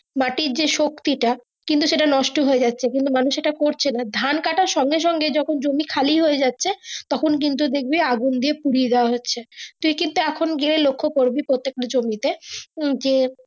মাটির যে শক্তি টা সেট কিন্তু নষ্ট হয়েযাচ্ছে কিন্তু মানুষ এটা করছে ধরে ধান কাটের সঙ্গে সঙ্গে যখন জমি খালি হয়ে যাচ্ছে তখন কিন্তু দেখবি আগুন দিয়ে পুড়িয়ে দেওয়া হচ্ছে তুই কিন্তু এখন গিয়ে লক্ষ্য করবি প্রত্যেক তা জমিতে উম যে।